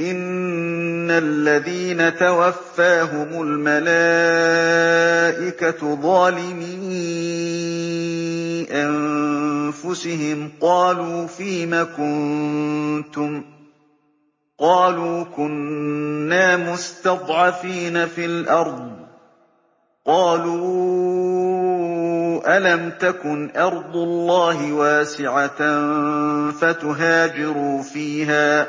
إِنَّ الَّذِينَ تَوَفَّاهُمُ الْمَلَائِكَةُ ظَالِمِي أَنفُسِهِمْ قَالُوا فِيمَ كُنتُمْ ۖ قَالُوا كُنَّا مُسْتَضْعَفِينَ فِي الْأَرْضِ ۚ قَالُوا أَلَمْ تَكُنْ أَرْضُ اللَّهِ وَاسِعَةً فَتُهَاجِرُوا فِيهَا ۚ